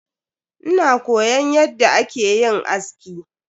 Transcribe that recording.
Ina koyon yadda akeyin aski.